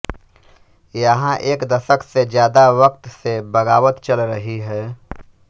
यहां एक दशक से ज्यादा वक्त से बगावत चल रही है